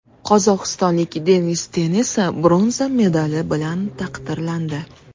Qozog‘istonlik Denis Ten esa bronza medali bilan taqdirlandi.